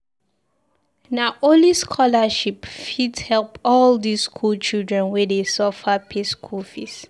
Na only scholarship fit help all dis skool children wey dey suffer pay school fees.